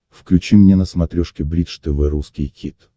включи мне на смотрешке бридж тв русский хит